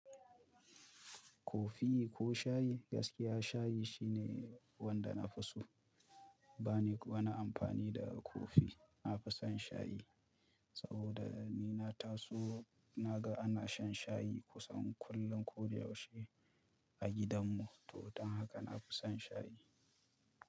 Kofi ko shayi, gaskiya shayi shine wanda nafi so bani wani amfani da kofi na fi son shayi saboda ni na taso na ga ana shan shayi kusan kullum ko da yaushe a gidan mu. To don haka na fi son shayi.